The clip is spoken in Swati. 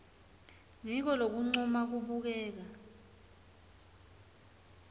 ngiko lokuncuma kubukeka